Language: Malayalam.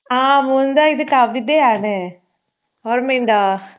ആഹ് മുകുന്ദാ ഇത് കവിതയാണ്. ഓർമ്മയുണ്ടോ?